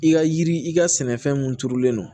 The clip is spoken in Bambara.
I ka yiri i ka sɛnɛfɛn mun turulen don